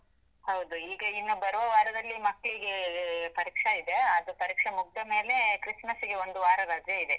ಹೌದು, ಈಗ ಇನ್ನು ಬರುವ ವಾರದಲ್ಲಿ ಮಕ್ಳಿಗೆ ಪರೀಕ್ಷೆ ಇದೆ, ಅದು ಪರೀಕ್ಷೆ ಮುಗ್ದ ಮೇಲೆ ಕ್ರಿಸ್ಮಸ್ಗೆ ಒಂದು ವಾರ ರಜೆ ಇದೆ.